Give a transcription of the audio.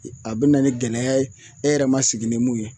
A be na ni gɛlɛya ye e yɛrɛ ma sigi ni mun ye